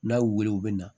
N'a y'u wele u bɛ na